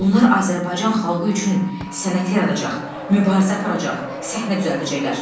Bunlar Azərbaycan xalqı üçün sənət yaradacaq, mübarizə aparacaq, səhnə düzəldəcəklər.